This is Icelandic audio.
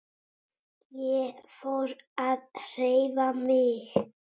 Ég fór að hreyfa mig.